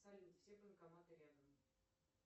салют все банкоматы рядом